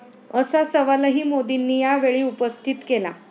असा सवालही मोदींनी यावेळी उपस्थित केला.